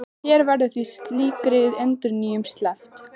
Hér verður því slíkri endurnýjun sleppt.